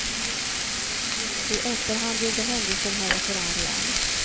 I efterhand gjorde händelsen henne förargad.